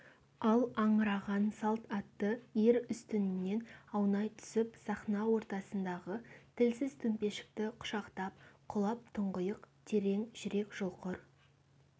ал аңыраған салт атты ер үстінінен аунай түсіп сахна ортасындағы тілсіз төмпешікті құшақтап құлап тұңғиық терең жүрек жұлқыр